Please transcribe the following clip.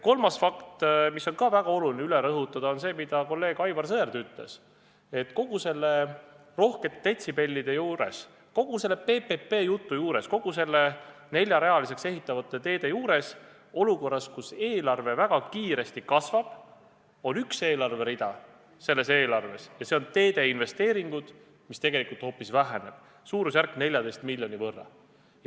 Kolmas fakt, mis on samuti väga oluline üle rõhutada, on see, mida kolleeg Aivar Sõerd ütles, et kõigi nende rohkete detsibellide juures, kogu selle PPP-jutu juures, kõigi nende neljarealiseks ehitatavate teede juures, olukorras, kus eelarve väga kiiresti kasvab, on üks eelarverida – ja see on teede investeeringud –, mis tegelikult hoopis väheneb, suurusjärgus 14 miljoni võrra.